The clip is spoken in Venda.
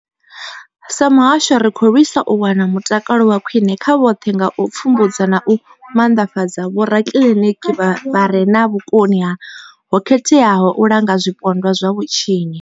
Sa muhasho, ri khou lwisa u wana mutakalo wa khwine kha vhoṱhe nga u pfumbudza na u maanḓafhadza vhorakiliniki vha re na vhukoni ho khetheaho u langa zwipondwa zwa vhutshinyi.